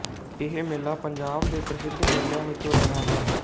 ਇਹ ਮੇਲਾ ਪੰਜਾਬ ਦੇ ਪ੍ਰਸਿੱਧ ਮੇਲਿਆਂ ਵਿਚੋਂ ਰਿਹਾ ਹੈ